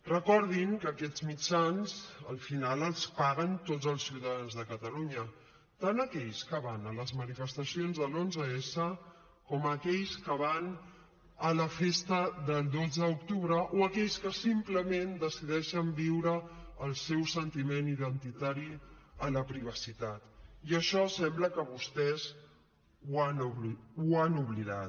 recordin que aquests mitjans al final els paguen tots els ciutadans de catalunya tant aquells que van a les manifestacions de l’onze s com aquells que van a la festa del dotze d’octubre o aquells que simplement decideixen viure el seu sentiment identitari en la privacitat i això sembla que vostès ho han oblidat